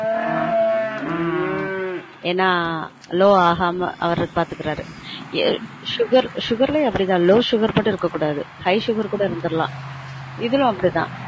ஆஹ் ஆஹ் என்னா low ஆகாம அவரே பார்த்துக்குறாரு ஏ sugar லயும் அப்டி தான் low sugar மட்டும் இருக்க கூடாது high sugar கூட இருந்துரலான் இதுல அப்டி தான்